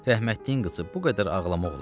Rəhmətliyin qızı bu qədər ağlamaq olar?